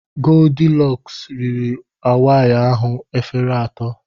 Goldilọks riri awaị ahụ efere atọ.